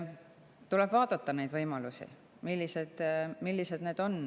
Tuleb vaadata võimalusi, seda, millised need on.